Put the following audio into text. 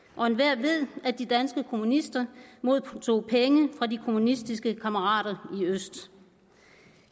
og enhver ved at de danske kommunister modtog penge fra de kommunistiske kammerater i øst